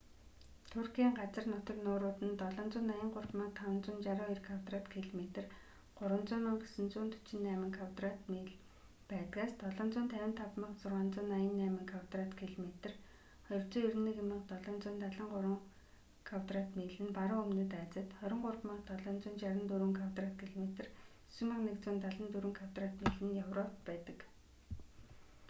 туркийн газар нутаг нуурууд нь 783,562 квадрат километр 300,948 кв миль байдгаас 755,688 квадрат километр 291,773 кв миль нь баруун өмнөд азид 23,764 квадрат километр 9,174 кв миль нь европт байдаг